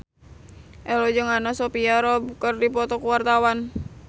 Ello jeung Anna Sophia Robb keur dipoto ku wartawan